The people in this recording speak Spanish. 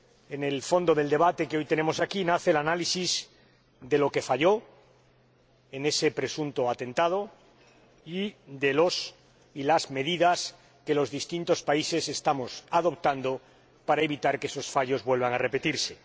En el fondo del debate que hoy celebramos aquí nace el análisis de lo que falló en ese presunto atentado y de las medidas que los distintos países estamos adoptando para evitar que esos fallos vuelvan a repetirse.